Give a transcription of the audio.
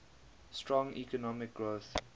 strong economic growth